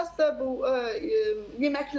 Əsas da bu yeməklər.